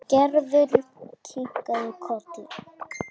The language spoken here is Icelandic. Gerður kinkaði kolli.